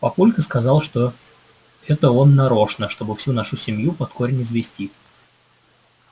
папулька сказал что это он нарочно чтобы всю нашу семью под корень извести